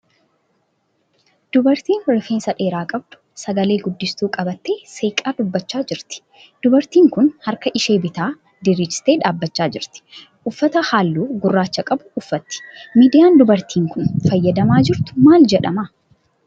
Dubartiin rifeensa dheeraa qabdu sagalee guddistuu qabattee seeqaa dubbachaa jirti. Dubartiin kun harka ishee bitaa diriirsitee dhaabbachaa jirti. Uffata halluu gurraacha qabu uffatti. Miidiyaan dubartiin kun fayyadamaa jirtu maal jedhama?